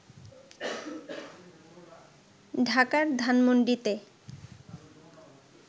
ঢাকার ধানমন্ডিতে